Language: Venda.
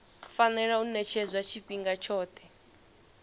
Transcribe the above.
fanela u ṅetshedzwa tshifhinga tshoṱhe